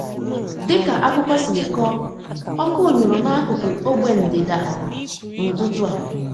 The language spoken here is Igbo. Dịka akụkọ siri kọọ, ọkụ nyụrụ n'akuku ogbe ndịda n'ụtụtụ a.